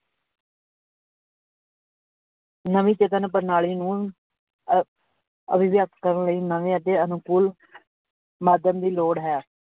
ਨਵੀਂ ਪ੍ਰਣਾਲੀ ਨੂੰ ਅਹ ਅਭਿਵਿਅਕਤ ਕਰਨ ਲਈ ਨਵੇਂ ਅਤੇ ਅਨੁਕੂਲ ਦੀ ਲੋੜ ਹੈ।